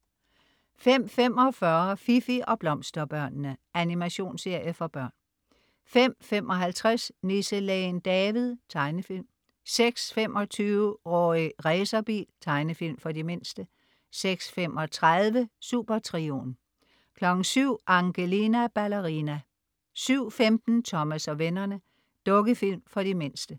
05.45 Fifi og Blomsterbørnene. Animationsserie for børn 05.55 Nisselægen David. Tegnefilm 06.25 Rorri Racerbil. Tegnefilm for de mindste 06.35 Supertrioen 07.00 Angelina Ballerina 07.15 Thomas og vennerne. Dukkefilm for de mindste